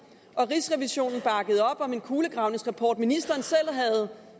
og rigsrevisionen bakkede op om en kulegravningsrapport ministeren selv havde